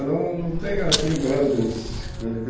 Não não tem assim grandes coisas que